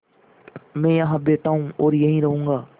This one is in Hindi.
मैं यहाँ बैठा हूँ और यहीं रहूँगा